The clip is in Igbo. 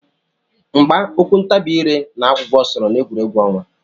Mgba, okwu ntabi ire na agwụgwa sooro na egwu ọnwa.